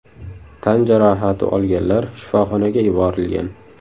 Tan jarohati olganlar shifoxonaga yuborilgan.